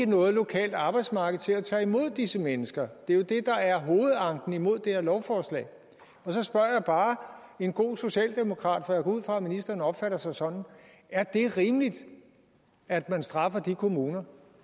noget lokalt arbejdsmarked til at tage imod disse mennesker det er jo det der er hovedanken imod det her lovforslag og så spørger jeg bare en god socialdemokrat for jeg går ud fra at ministeren opfatter sig sådan er det rimeligt at man straffer de kommuner